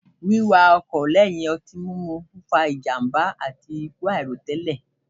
Wíwakọ̀ lẹ́yìn ọtí mímu ń fa ìjàmbá àti ikú àìròtẹ́lẹ̀